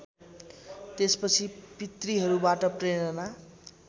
त्यसपछि पितृहरूबाट प्रेरणा